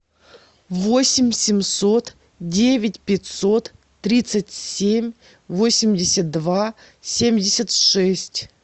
восемь семьсот девять пятьсот тридцать семь восемьдесят два семьдесят шесть